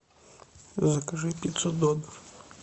закажи пиццу додо